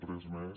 res més